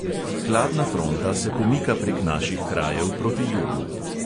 Hladna fronta se pomika prek naših krajev proti jugu.